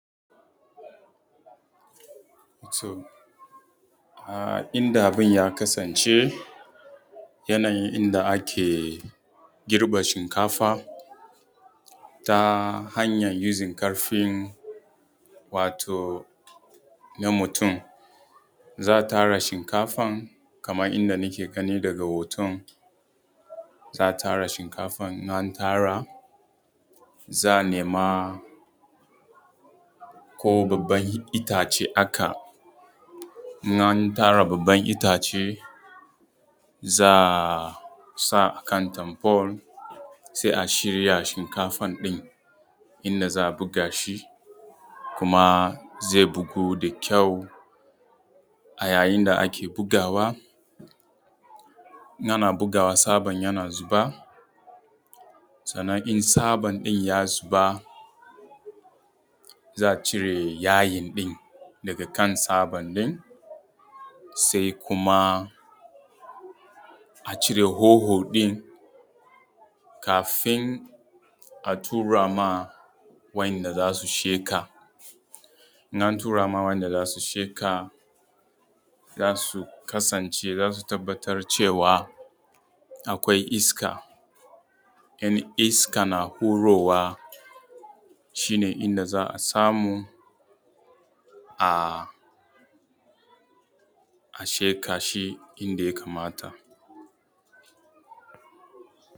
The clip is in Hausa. To a inda abun ya kasance yanayin inda ake girbe shinkafa ta hanyar using ƙarfi wato na mutum. Za a tara shinkafan kaman inda nake gani daga hoton, za a tara shinkafan, in an tara za a nema ko babban itace haka ina an tara babban itace, za a sa akan tamful sai a shirya shinkafa ɗin inda za a buga shi, kuma zai bugu da kyau. A yayin da ake bugawa, in ana bugawa tsaban yana zuba, sannan in tsaban ɗin ya zuba za a cire yayin ɗin daga kan tsaban ɗin, sai kuma a cire hoho ɗin kafin a tura ma wa'inda za su sheƙa. In an tura ma wa'inda za su sheƙa, za su kasance za su tabbatar cewa akwai iska. In iska na horowa shi ne inda za a samu a sheƙa shi inda ya kamata.